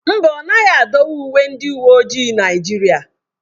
Mba ọ naghị adọwa uwe ndị uwe ojii Naijiria.